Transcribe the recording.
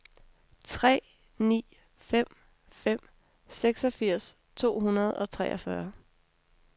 tre ni fem fem seksogfirs to hundrede og treogfyrre